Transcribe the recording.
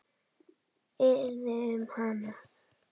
Hvað yrði um hana?